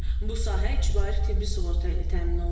Bu sahə icbari tibbi sığorta ilə təmin olunub.